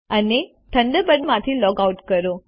અંતે થંડરબર્ડમાંથી log out કરો